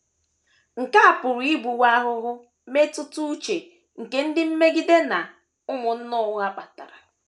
Nke a pụrụ ịbụwo ahụhụ mmetụta uche nke ndị mmegide na “ ụmụnna ụgha ” kpatara.